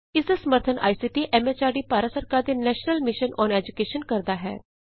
ਇਸ ਦਾ ਸਮਰੱਥਨ ਆਈਸੀਟੀ ਐਮ ਐਚਆਰਡੀ ਭਾਰਤ ਸਰਕਾਰ ਦੇ ਨੈਸ਼ਨਲ ਮਿਸ਼ਨ ਅੋਨ ਏਜੂਕੈਸ਼ਨ ਕਰਦਾ ਹੈ